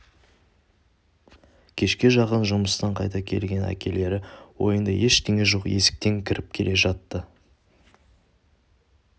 кешке жақын жұмыстан қайтқан әкелері ойында ештеңе жоқ есіктен кіріп келе жатты